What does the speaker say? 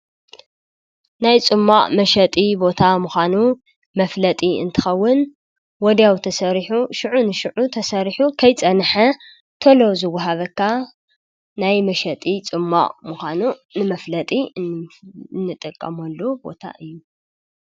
ናይ ጹማዕ መሸጢ ቦታ ምዃኑ መፍለጢ እንትኸውን ወዲያው ተሠሪኁ ሽዑ ንሽዑ ተሠሪሑ ኸይጸንሐ ተሎ ዝውሃበካ ናይ መሸጢ ፁማዕ ምዃኑ ንመፍለጢ እንጠቀሞኣሉ ቦታ እዩ።